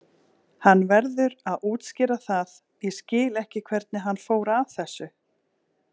Hann verður að útskýra það, ég skil ekki hvernig hann fór að þessu.